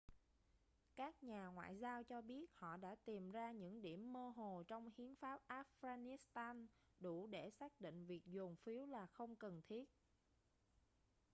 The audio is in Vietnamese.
các nhà ngoại giao cho biết họ đã tìm ra những điểm mơ hồ trong hiến pháp afghanistan đủ để xác định việc dồn phiếu là không cần thiết